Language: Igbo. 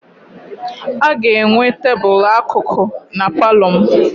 A ga-enwe tebụlụ akụkụ na palọ m.